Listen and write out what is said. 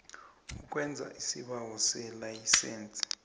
ukwenza isibawo selayisense